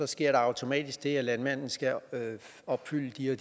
sker der automatisk det at landmanden skal opfylde de og